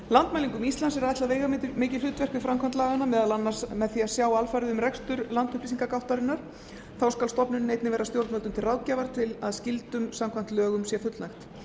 landmælingum íslands er ætlað veigamikið hlutverk við framkvæmd laganna meðal annars með því að sjá alfarið um rekstur landupplýsingagáttarinnar þá skal stofnunin einnig vera stjórnvöldum til ráðgjafar til að skyldum samkvæmt lögum sé fullnægt